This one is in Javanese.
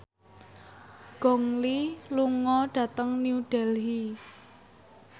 Gong Li lunga dhateng New Delhi